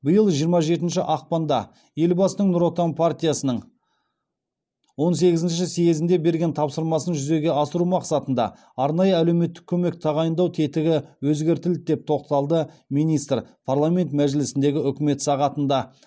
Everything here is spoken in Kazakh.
биыл жиырма жетінші ақпанда елбасының нұр отан партиясының он сегізінші съезінде берген тапсырмасын жүзеге асыру мақсатында арнайы әлеуметтік көмек тағайындау тетігі өзгертілді деп тоқталды министр парламент мәжілісіндегі үкімет сағатында